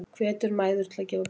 Hvetur mæður til að gefa brjóst